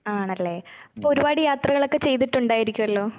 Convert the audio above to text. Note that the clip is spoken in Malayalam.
ആണല്ലേ? അപ്പൊ ഒരുപാട് യാത്രകളൊക്കെ ചെയ്തിട്ടുണ്ടായിരിക്കുവല്ലോ?